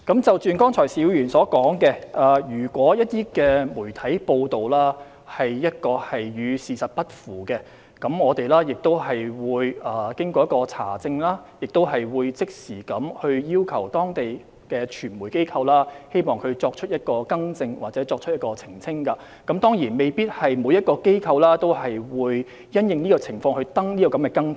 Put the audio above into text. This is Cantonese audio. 就剛才邵議員所說，如果一些媒體的報道與事實不符，我們經查證後會即時要求當地的傳媒機構作出更新或澄清，但當然未必每個機構也會就相關情況刊出更正。